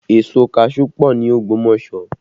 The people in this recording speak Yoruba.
Èso kaṣuú pọ ní Ogbomoso